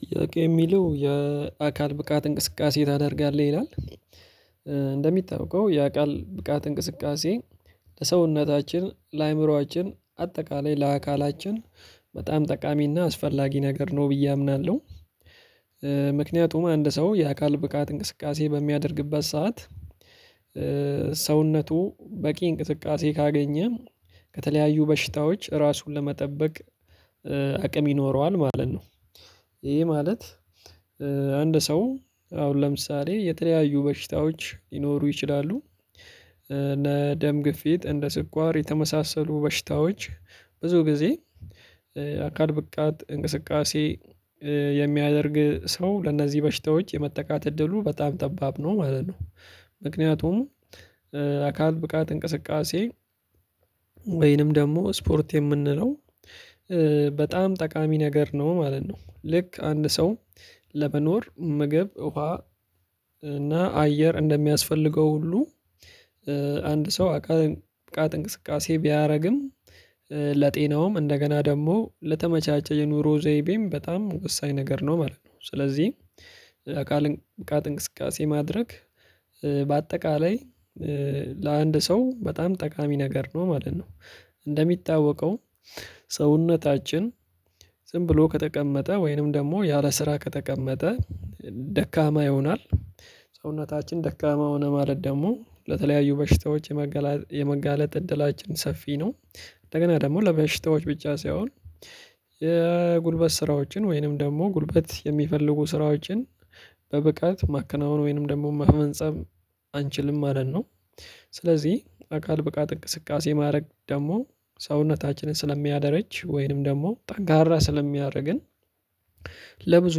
ጥያቄ የሚለው የአካል ብቃት እንቅስቃሴ ታደርጋለህ ይላል? እንደሚጠብቀው ያ ቃል ብቃት እንቅስቃሴ ለሰውነታችን ለአእምሮአችን አጠቃላይ ለአካላችን በጣም ጠቃሚና አስፈላጊ ነገር ነው ብዬ አምናለሁ። ምክንያቱም አንድ ሰው የአካል ብቃት እንቅስቃሴ በሚያደርግበት ሰዓት ሰውነቱ በቂ እንቅስቃሴ ካገኘ ከተለያዩ በሽታዎች ራሱን ለመጠበቅ አቅም ይኖረዋል ማለት ነው። ይሄ ማለት አንድ ሰው አሁን ለምሳሌ የተለያዩ በሽታዎች ሊኖሩ ይችላሉ። እነ ደም ግፊት እንደ ስኳር የተመሳሰሉ በሽታዎች ብዙ ጊዜ አካል ብቃት እንቅስቃሴ የሚያደርግ ሰው ለእነዚህ በሽታዎች የመጠቃት እድሉ በጣም ጠባብ ነው ማለት ነው። ምክንያቱም አካል ብቃት እንቅስቃሴ ወይንም ደግሞ ስፖርት የምንለው በጣም ጠቃሚ ነገር ነው ማለት ነው። ልክ አንድ ሰው ለመኖር ምግብ ውሃ እና አየር እንደሚያስፈልገው ሁሉ። አንድ ሰው አካል ብቃት እንቅስቃሴ ቢያደርግም ለጤናውም እንደገና ደግሞ ለተመቻቸ የኑሮ ዘይቤም በጣም ወሳኝ ነገር ነው ማለት ነው። ስለዚህ አካል ብቃት እንቅስቃሴ ማድረግ በአጠቃላይ ለአንድ ሰው በጣም ጠቃሚ ነገር ነው ማለት ነው። እንደሚታወቀው ሰውነታችን ዝም ብሎ ከተቀመጠ ወይንም ደግሞ ያለ ስራ ከተቀመጠ ደካማ ይሆናል። ሰውነታችን ደካማ ሆነ ማለት ደግሞ ለተለያዩ በሽታዎች የመጋለጥ እድላችን ሰፊ ነው። እንደገና ደግሞ ለበሽታዎች ብቻ ሳይሆን የጉልበት ስራዎችን ወይንም ደግሞ ጉልበት የሚፈልጉ ስራዎችን በብቃት ማከናወን ወይንም ደግሞ ማመንጸብ አንችልም ማለት ነው። ስለዚህ አካል ብቃት እንቅስቃሴ ማድረግ ደግሞ ሰውነታችንን ስለሚያደርጅ ወይንም ደግሞ ጠንካራ ስለሚያደርግን ለብዙ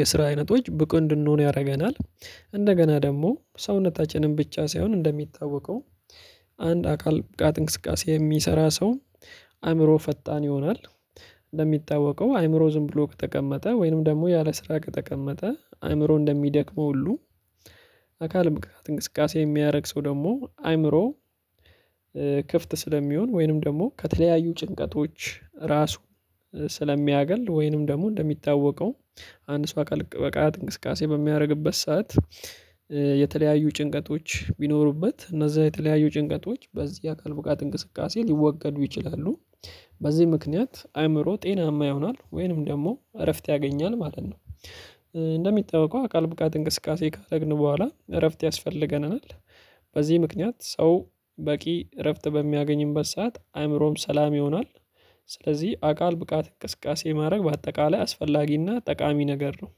የስራ አይነቶች ብቁ እንድንሆን ያደርገናል። እንደገና ደግሞ ሰውነታችንን ብቻ ሳይሆን እንደሚታወቀው አንድ አካል በቃት እንቅስቃሴ የሚሰራ ሰው አእምሮ ፈጣን ይሆናል። እንደሚታወቀው አይምሮ ዝም ብሎ ከተቀመጠ ወይንም ደግሞ ያለ ስራ ከተቀመጠ አይምሮ እንደሚደክመው ሁሉ አካል ብቃት እንቅስቃሴ የሚደያረግ ደግሞ አይምሮ። ክፍት ስለሚሆን ወይንም ደግሞ ከተለያዩ ጭንቀቶች ራሱ ስለሚያገል ወይንም ደግሞ እንደሚታወቀው አንድ ሰው አካል ብቃት እንቅስቃሴ በሚያደርግበት ሰዓት የተለያዩ ጭንቀቶች ቢኖሩበት እነዛ የተለያዩ ጭንቀቶች በዚህ አካል ብቃት እንቅስቃሴ ሊወገዱ ይችላሉ። በዚህ ምክንያት አእምሮ ጤናማ ይሆናል ወይንም ደግሞ እረፍት ያገኛል ማለት ነው። እንደሚጠበቀው አካል ብቃት እንቅስቃሴ ካደረግን በኋላ እረፍት ያስፈልገናል። በዚህ ምክንያት ሰው በቂ እረፍት በሚያገኝበት ሰዓት አእምሮም ሰላም ይሆናል። ስለዚህ አካል ብቃት እንቅስቃሴ ማድረግ በአጠቃላይ አስፈላጊና ጠቃሚ ነገር ነው።